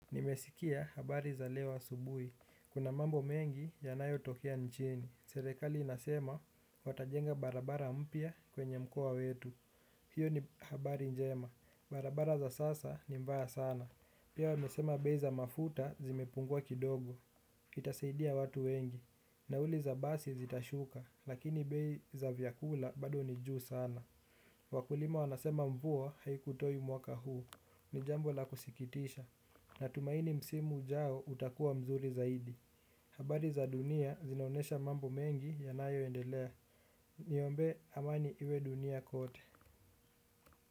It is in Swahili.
Nimesikia habari za leo asubuhi. Kuna mambo mengi yanayo tokea nchini. Serekali inasema watajenga barabara mpia kwenye mkoa wetu. Hiyo ni habari njema. Barabara za sasa ni mbaya sana. Pia wamesema bei za mafuta zimepungua kidogo. Itasaidia watu wengi. Nauli za basi zitashuka. Lakini bei za vyakula bado ni juu sana. Wakulima wanasema mvua haikutoi mwaka huu. Nijambo la kusikitisha. Natumaini msimu ujao utakua mzuri zaidi. Habari za dunia zinaonesha mambo mengi yanayo endelea. Niombe amani iwe dunia kote.